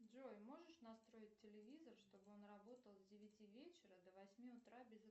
джой можешь настроить телевизор чтобы он работал с девяти вечера до восьми утра без